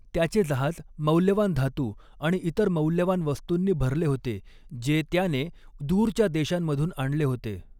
त्याचे जहाज मौल्यवान धातू आणि इतर मौल्यवान वस्तूंनी भरले होते जे त्याने दूरच्या देशांमधून आणले होते.